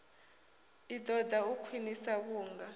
i ṱoḓa u khwiniswa vhunga